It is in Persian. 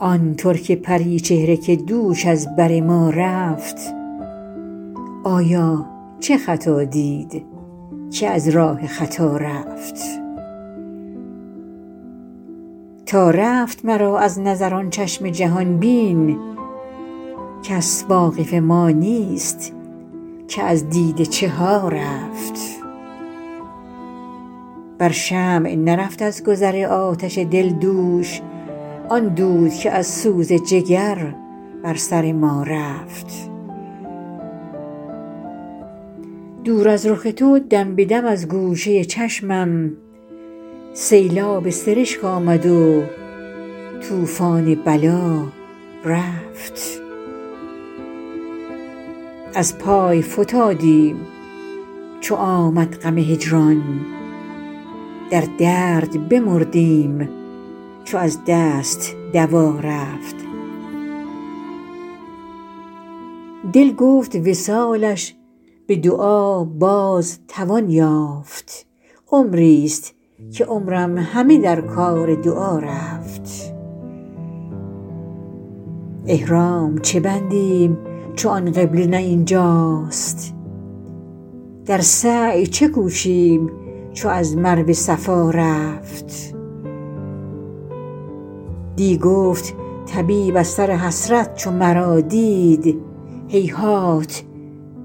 آن ترک پری چهره که دوش از بر ما رفت آیا چه خطا دید که از راه خطا رفت تا رفت مرا از نظر آن چشم جهان بین کس واقف ما نیست که از دیده چه ها رفت بر شمع نرفت از گذر آتش دل دوش آن دود که از سوز جگر بر سر ما رفت دور از رخ تو دم به دم از گوشه چشمم سیلاب سرشک آمد و طوفان بلا رفت از پای فتادیم چو آمد غم هجران در درد بمردیم چو از دست دوا رفت دل گفت وصالش به دعا باز توان یافت عمریست که عمرم همه در کار دعا رفت احرام چه بندیم چو آن قبله نه این جاست در سعی چه کوشیم چو از مروه صفا رفت دی گفت طبیب از سر حسرت چو مرا دید هیهات